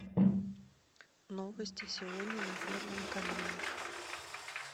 новости сегодня на первом канале